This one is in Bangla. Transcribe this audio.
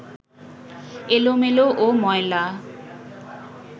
এলোমেলো ও ময়লা